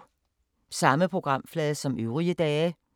Samme programflade som øvrige dage